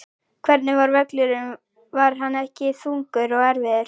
Hvernig var völlurinn var hann ekki þungur og erfiður?